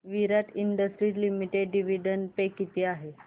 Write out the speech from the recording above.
विराट Industries Limited dividend pay किती आहे